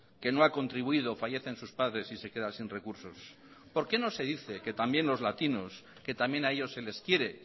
que no ha contribuido fallecen sus padres y se queda sin recursos por qué no se dice que también los latinos que también a ellos se les quiere